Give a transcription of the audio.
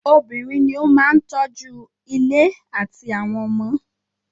Obìnrin ní o máà tọ́ju ilé àtí àwọn ọmọ.